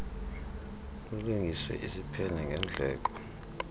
lulungiswe isiphene ngendleko